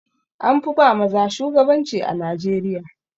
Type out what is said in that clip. An fi ba maza shugabanci a Najeriya.